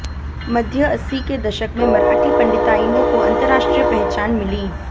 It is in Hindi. मध्य अस्सी के दशक में मराठी पंडिताइनों को अंतर्राष्ट्रीय पहचान मिली